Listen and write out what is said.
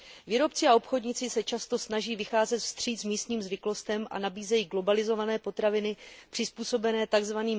Výrobci a obchodníci se často snaží vycházet vstříc místním zvyklostem a nabízejí globalizované potraviny přizpůsobené tzv.